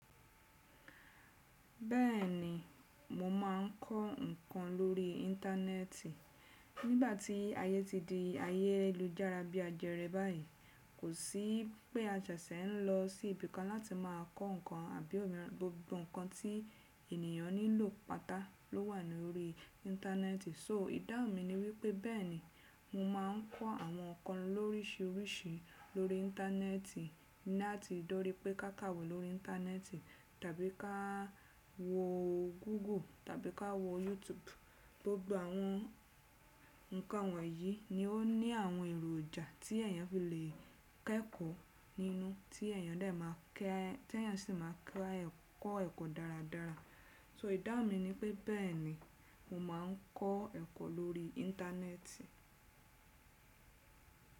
Bẹ́ẹ̀ni, mo máa ń kọ́ nǹkan lórí íńtánẹ́ẹ̀tì. Nígbà tí ayé ti di ayé lújára bí ajẹrẹ báyìí, kò sí pé a jẹ́ ṣẹ n lọ sí ibi kan láti máa kọ́ nǹkan. Àbí òmíran, gbogbo nǹkan tí ènìyàn nílò pátá ló wà ní orí íńtánẹ́ẹ̀tì. So ìdáhùn mi ni wí pé bẹ́ẹ̀ni, mo máa ń kọ́ àwọn nǹkan lóríṣiríṣi lórí íńtánẹ́ẹ̀tì, láti dorí pé ká kàwé lórí íńtánẹ́ẹ̀tì, tàbí ka a wọ Google tàbí ka wọ YouTube. Gbogbo àwọn nǹkan wọ̀nyí ni ó ní àwọn èròjà tí èèyàn fi lè kẹ́kọ̀ọ́ nínú, tí èèyàn dẹ́ máa kẹ́, tí èèyàn sì máa kẹ́ á kọ́ ẹ̀kọ́ dáradára. So ìdáhùn mi ni pé bẹ́ẹ̀ni, mo máa ń kọ́ ẹ̀kọ́ lórí íńtánẹ́ẹ̀tì.